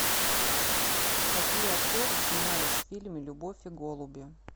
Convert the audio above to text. какие актеры снимались в фильме любовь и голуби